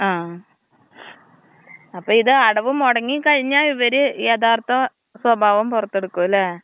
ആ, അപ്പോം ഇത് അടവ് മുടങ്ങി കഴിഞ്ഞാ ഇവര് യഥാർത്ഥ സ്വഭാവം പൊറത്തെടുക്കും ല്ലെ.